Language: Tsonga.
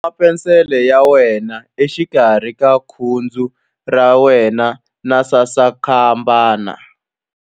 Khoma penisele ya wena exikarhi ka khudzu ra wena na sasankambana.